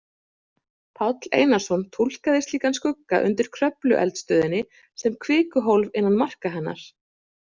Páll Einarsson túlkaði slíkan skugga undir Kröflueldstöðinni sem kvikuhólf innan marka hennar.